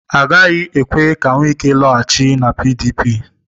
Agaghị ekwe ka Wike laghachi na PDP.